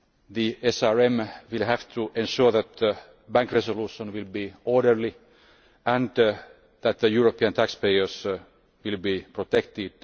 The SRM will have to ensure that bank resolution will be orderly and that the European taxpayers will be protected.